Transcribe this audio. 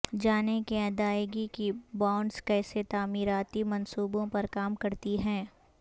جانیں کہ ادائیگی کی بانڈز کیسے تعمیراتی منصوبوں پر کام کرتی ہیں